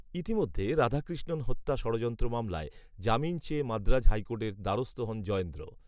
ইতিমধ্যে রাধাকৃষ্ণন হত্যা ষড়যন্ত্র মামলায়, জামিন চেয়ে মাদ্রাজ হাইকোর্টের দ্বারস্থ হন জয়েন্দ্র